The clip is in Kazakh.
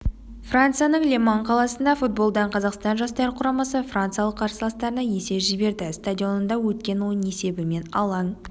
францияның ле-ман қаласында футболдан қазақстан жастар құрамасы франциялық қарсыластарына есе жіберді стадионында өткен ойын есебімен алаң